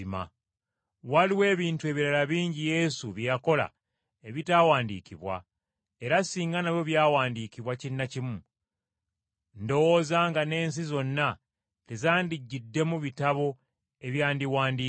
Waliwo n’ebintu ebirala bingi Yesu bye yakola ebitaawandiikibwa. Era singa nabyo byawandiikibwa kinnakimu, ndowooza nga n’ensi zonna tezandigiddemu bitabo ebyandiwandiikiddwa.